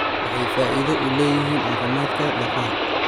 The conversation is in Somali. Waxay faa'iido u leeyihiin caafimaadka lafaha.